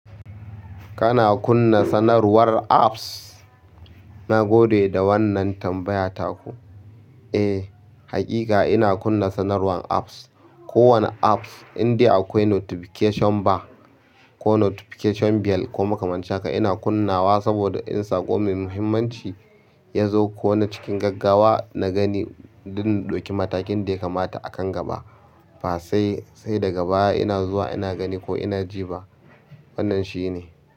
Kana kunna sanarwar apps? Nagode da wannan tambaya taku. Eh, haƙiƙa ina kunna sanarwan apps. Kowane apps indai akwai notification bar ko notification bell ko makamancin haka ina kunnawa saboda in saƙo mai muhimmanci yazo ko na cikin gaggawa na gani don in ɗauki matakin da ya kamata akan gaba. Fa sai, sai daga baya ina zuwa ina gani ko ina ji ba. Wannan shine.